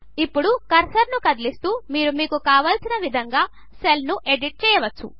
ఇప్పుడు కర్సర్ను కదిలిస్తూ మీరు మీకు కావలసిన విధంగా సెల్ను ఎడిట్ చేయవచ్చు